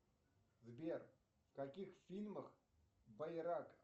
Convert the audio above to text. сбер в каких фильмах байрак